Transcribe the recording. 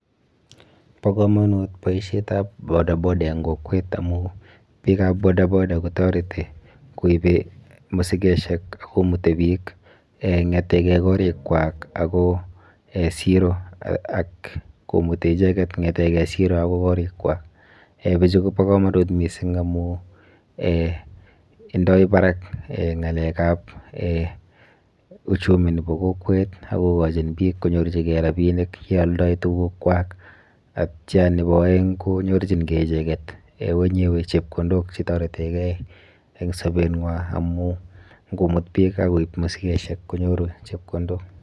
Bo kamanut boisietab bodaboda eng kokwet amun biikab bodaboda kotoreti koip musikosiok ako mutei biik kongeete korikwak akoi siro ako mute icheket kongete siro akoi korikwai. Biichu kobo kamanut mising amun indoi barak ngalekab uchumi nebo kokwet ako kochin biik konyorchikei rapinik ye aldai tugukwai , atya nebo aeng konyorchikei icheket wenyewe chepkondok che toretekei eng sobengwai amun ngomut biik akoip musikosiek konyoru chepkondok.